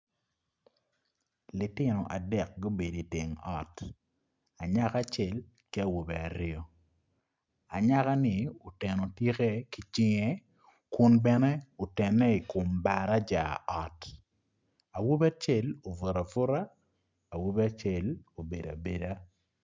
Lutino adek gubedo i teng ot anyaka acel ki awobe aryo anyaka ni oteno tike ki cinge kun bene otene i kom baraca awobi acel obuto abuta awobi acel obedo abeda.